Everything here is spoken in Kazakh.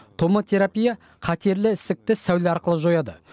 томотерапия қатерлі ісікті сәуле арқылы жояды